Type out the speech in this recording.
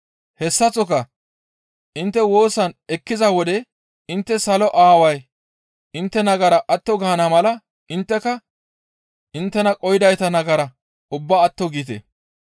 Hessaththoka intte woosas eqqiza wode intte Salo Aaway intte nagara atto gaana mala intteka inttena qohidayta nagara ubbaa atto giite.